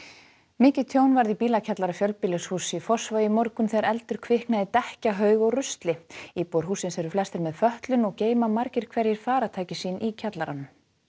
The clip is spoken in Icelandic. mikið tjón varð í bílakjallara fjölbýlishúss í Fossvogi í morgun þegar eldur kviknaði í dekkjahaug og rusli íbúar hússins eru flestir með fötlun og geyma margir hverjir farartæki sín í kjallaranum